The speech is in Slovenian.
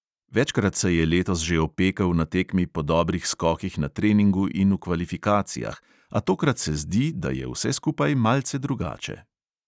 Večkrat se je letos že opekel na tekmi po dobrih skokih na treningu in v kvalifikacijah, a tokrat se zdi, da je vse skupaj malce drugače.